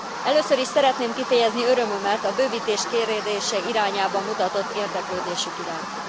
Először is szeretném kifejezni örömömet a bővítés kérdése irányába mutatott érdeklődésük iránt.